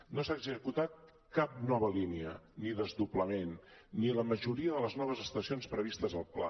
no s’ha executat cap nova línia ni desdoblament ni la majoria de les noves estacions previstes al pla